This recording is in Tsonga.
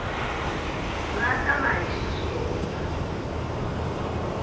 nga ta va hi xiswona